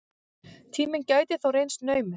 Tíminn gæti þó reynst naumur.